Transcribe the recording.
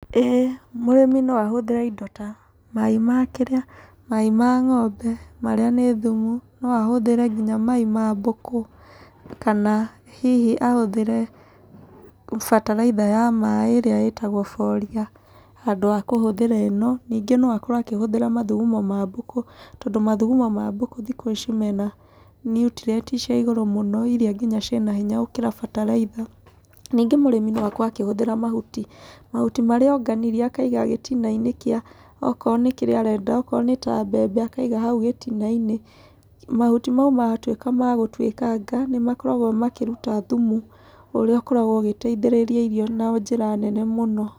Ĩĩ mũrĩmi no ahũthĩre indo ta mai ma kĩrĩa, mai ma ng'ombe, marĩa nĩ thumu, no ahũthĩre nginya mai ma mbũkũ kana hihi ahũthĩre bataritha ya maĩ ĩrĩa ĩtagwo boria handũ ha kũhũthĩra ĩno. Ningĩ no akorwo akĩhũthĩra mathugumo ma mbũkũ, tondũ mathugumo ma mbũkũ thikũ ici mena niutrieniti cia igũrũ mũno iria ina hinya gũkĩra ngina ciĩna hinya gũkĩra ngina bataraitha . Ningĩ mũrĩmi no akorwo akĩhũthĩra mahuti, mahuti marĩa onganirie akaiga gĩtina-inĩ kĩa, okorwo nĩ kĩrĩa arenda, okorwo nĩ kĩrĩa arenda, okorwo nĩ ta mbembe akaiga hau gĩtina-inĩ. Mahuti mau matwĩka magũtwĩkanga, nĩmakoragwo makĩruta thumu ũrĩa ũkoragwo ũgĩteithĩrĩria irio na njĩra nene mũno.